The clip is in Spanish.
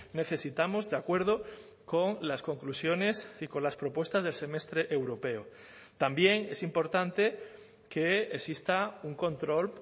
necesitamos de acuerdo con las conclusiones y con las propuestas del semestre europeo también es importante que exista un control